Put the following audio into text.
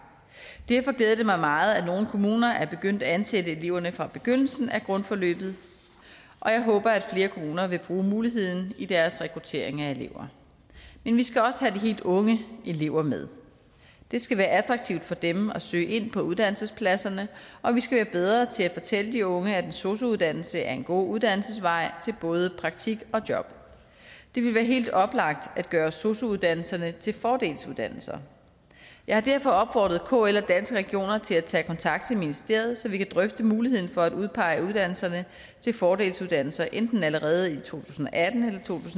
derfor glæder det mig meget at nogle kommuner er begyndt at ansætte eleverne fra begyndelsen af grundforløbet og jeg håber at flere kommuner vil bruge muligheden i deres rekruttering af elever men vi skal også have de helt unge elever med det skal være attraktivt for dem at søge ind på uddannelsespladserne og vi skal være bedre til at fortælle de unge at en sosu uddannelse er en god uddannelsesvej til både praktik og job det vil være helt oplagt at gøre sosu uddannelserne til fordelsuddannelser jeg har derfor opfordret kl og danske regioner til at tage kontakt til ministeriet så vi kan drøfte muligheden for at udpege uddannelserne til fordelsuddannelser enten allerede i to tusind og atten